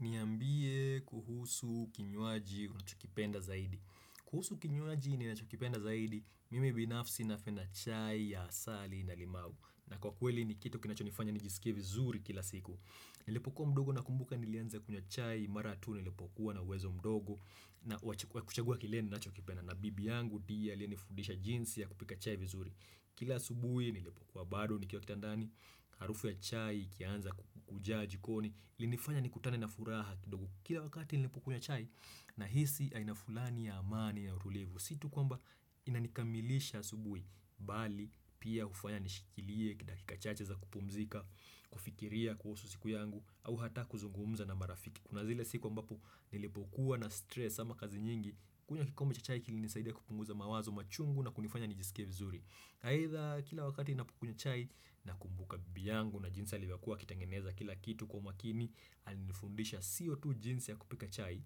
Niambie kuhusu kinywaji unachokipenda zaidi. Kuhusu kinywaji ninachokipenda zaidi, mimi binafsi napenda chai ya asali na limau. Na kwa kweli ni kitu kinachonifanya nijisikia vizuri kila siku. Nilipokuwa mdogo nakumbuka nilianza kunywa chai, mara tu niilipokuwa na uwezo mdogo wa kuchagua kile ninachokipenda. Na bibi yangu ndiye aliyenifudisha jinsi ya kupika chai vizuri. Kila asubuhi nilipokuwa bado nikiwakitandani, harufu ya chai ikianza kujaa jikoni. Ilinifanya nikutane na furaha kidogo. Kila wakati nilipukunywa chai, nahisi aina fulani ya amani ya utulivu sio tu kwamba inanikamilisha asubuhi, bali pia hufanya nishikilie, kidakika chache za kupumzika, kufikiria kuhusu siku yangu, au hata kuzungumza na marafiki, kuna zile siku ambapo, nilipokuwa na stress ama kazi nyingi, kunywa kikombe cha chai kilinisaidia kupunguza mawazo machungu na kunifanya nijisike vizuri. Aidha kila wakati ninapokunywa chai. Nakumbuka bibi yangu na jinsi alivyokuwa akitengeneza kila kitu kwa umakini, alinifundisha siyo tu jinsi ya kupika chai,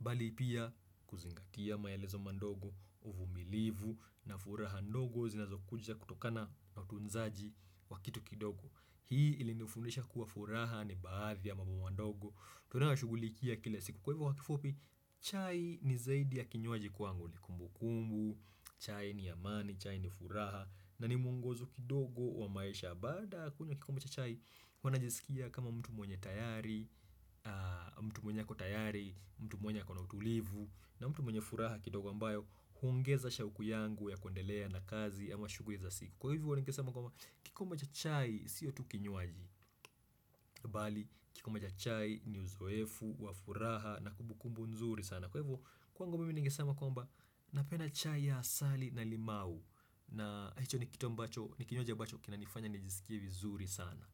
bali pia kuzingatia maelezo mandogo, uvumilivu, na furaha ndogo zinazokuja kutokana na utunzaji wa kitu kidogo. Hii ilinifundisha kuwa furaha ni baadhi ya mambo mandogo. Tunayo ya shugulikia kila siku. Kwa hivyo kwa kifupi, chai ni zaidi ya kinywaji kwangu. Kumbukumbu, chai ni amani, chai ni furaha, na ni muongozo kidogo wa maisha. Baada ya kunywa kikombe cha chai, huwa najisikia kama mtu mwenye tayari, mtu mwenye ako tayari, mtu mwenye ako na utulivu, na mtu mwenye furaha kidogo ambayo huongeza shauku yangu ya kundelea na kazi ama shughuli za siku. Kwa hivyo nikesema kwamba kikombe cha chai siyo, tu kinywaji, bali kikombe cha chai ni uzoefu wa furaha na kumbukumbu nzuri sana. Kwa hivyo kwangu mimi nikisema kwamba napenda chai ya asali na limau, na hicho ni kitu ambacho ni kinywaji ambacho kinanifanya nijisikie vizuri sana.